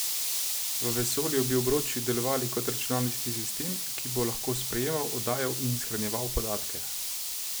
V vesolju bi obroči delovali kot računalniški sistem, ki bo lahko sprejemal, oddajal in shranjeval podatke.